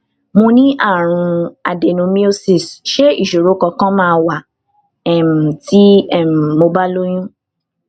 mo ní àrùn adenomyosis ṣé isoro kankan ma wa um ti um mo ba lóyún um